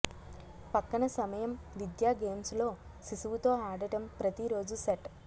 పక్కన సమయం విద్యా గేమ్స్ లో శిశువు తో ఆడటం ప్రతి రోజు సెట్